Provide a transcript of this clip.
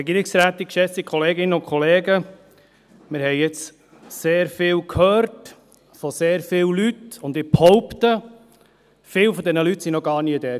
Wir haben jetzt sehr viel von sehr vielen Leuten gehört, und ich behaupte: Viele dieser Leute waren noch gar nie dort.